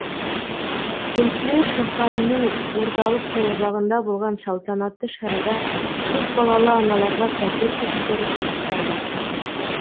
кеншілер шаһарының орталық саябағында болған салтанатты шарада көпбалалы аналарға пәтер кілттері табысталды